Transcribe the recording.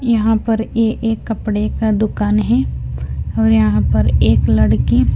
यहां पर ये एक कपड़े का दुकान है और यहां पर एक लड़की--